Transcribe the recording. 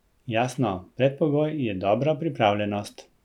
Jasno, predpogoj je dobra pripravljenost.